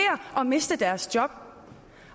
at miste deres job